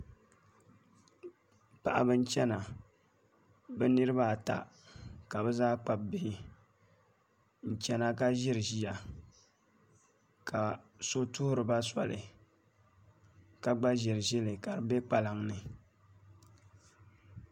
Paɣaba n chɛna bi niraba ata ka bi zaa kpabi bihi n chɛna ka ʒiri ʒiya ka so tuhuriba soli ka gba ʒiri ʒili ka di bɛ kpalaŋ ni